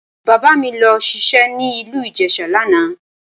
Bàbá mi lọ ṣiṣẹ́ ní ìlú Ìjẹ̀ṣà lánàá